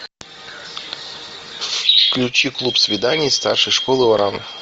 включи клуб свиданий старшей школы оран